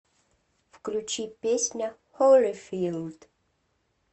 включи песня холифилд